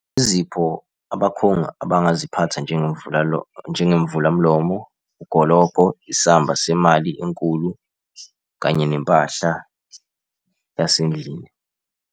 Izipho abakhongi abangaziphatha, njengemvulamlomo, ugologo, isamba semali enkulu kanye nempahla yasendlini.